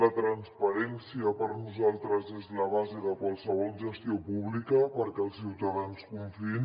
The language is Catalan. la transparència per nosaltres és la base de qualsevol gestió pública perquè els ciutadans confiïn